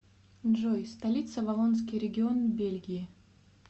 джой столица валлонский регион бельгии